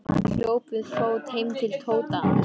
Hann hljóp við fót heim til Tóta.